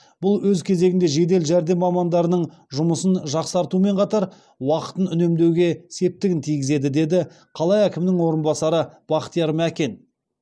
бұл өз кезегінде жедел жәрдем мамандарының жұмысын жақсартумен қатар уақытын үнемдеуге септігін тигізеді деді қала әкімінің орынбасары бақтияр мәкен